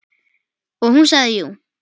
Og hún sagði jú.